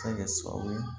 Se ka kɛ sababu ye